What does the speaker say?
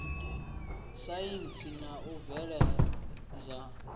saintsi na u bveledza ṱho